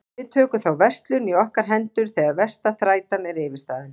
Við tökum þá verslun í okkar hendur þegar versta þrætan er yfirstaðin.